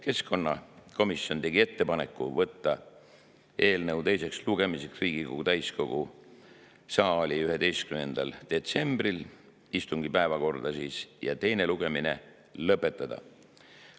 Keskkonnakomisjon tegi ettepaneku võtta eelnõu teiseks lugemiseks Riigikogu täiskogu 11. detsembril istungi päevakorda ja teine lugemine lõpetada.